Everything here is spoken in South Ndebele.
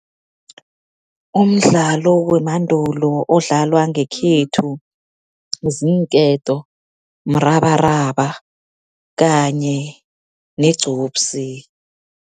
Umdlalo wemandulo odlalwa ngekhethu, ziinketo, mrabaraba kanye negcupsi.